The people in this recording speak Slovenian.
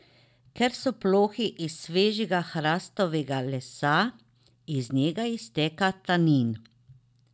Ker so plohi iz svežega hrastovega lesa, iz njega izteka tanin.